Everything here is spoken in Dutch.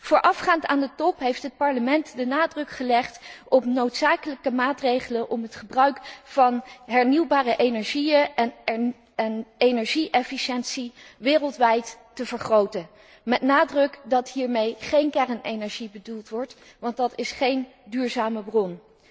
Voorafgaand aan de top heeft het Parlement de nadruk gelegd op noodzakelijke maatregelen om het gebruik van hernieuwbare energieën en energie efficiëntie wereldwijd te vergroten, met de nadruk dat hiermee geen kernenergie bedoeld wordt, want dat is geen duurzame bron.